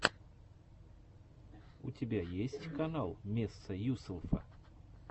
у тебя есть канал месса юселфа